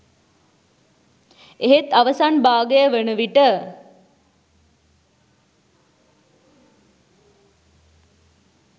එහෙත් අවසන් භාගය වනවිට